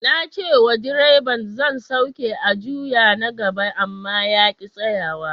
Na ce wa direban zan sauke a juyo na gaba, amma ya ki tsayawa.